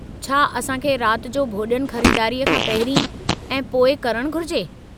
छा असां खे रात जो भोॼनु ख़रीदारीअ खां पहिरीं या पोइ करणु घुरिजे?